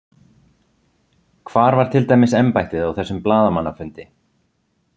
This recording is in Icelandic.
Hvar var til dæmis embættið á þessum blaðamannafundi?